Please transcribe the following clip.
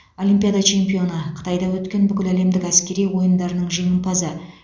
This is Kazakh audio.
олимпиада чемпионы қытайда өткен бүкіләлемдік әскери ойындарының жеңімпазы